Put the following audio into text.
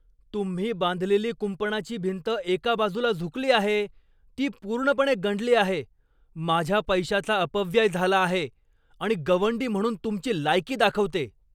तुम्ही बांधलेली कुंपणाची भिंत एका बाजूला झुकली आहे, ती पूर्णपणे गंडली आहे, माझ्या पैशाचा अपव्यय झाला आहे आणि गवंडी म्हणून तुमची लायकी दाखवते.